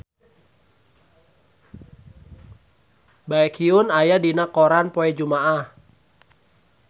Baekhyun aya dina koran poe Jumaah